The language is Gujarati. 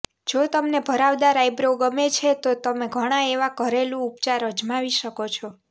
જો તમને ભરાવદાર આઇબ્રો ગમે છે તો તમે ઘણા એવા ઘરેલું ઉપચાર અજમાવી શકો છો